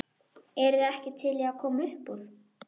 Heldurðu að það sé eitthvert svar?